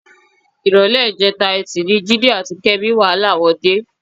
Ìrọ̀lẹ́ ìjẹta Ẹtì ni Jídé àti Kẹ́mi wàhálà wọn dé.